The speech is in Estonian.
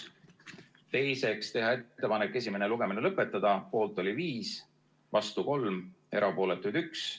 Teiseks, teha ettepanek esimene lugemine lõpetada, poolt oli 5, vastu 3, erapooletuid 1.